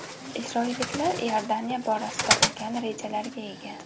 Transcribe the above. Isroilliklar Iordaniya borasida ulkan rejalarga ega.